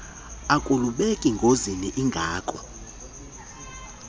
akulubeki ngozini ingako